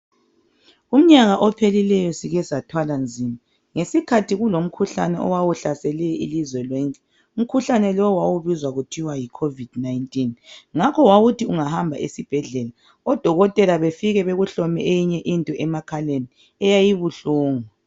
Umnyaka ophelileyo sike sathwala nzima ngesikhathi kulomkhuhlane owawuhlasele ilizwe lonke. Umkhuhlane lowu wawubizwa kuthiwa yi Covid-19. Ngakho wawuthi ungahamba esibhedlela, odokotela befike bekuhlome eyinye into emakhaleni eyayibuhlungu.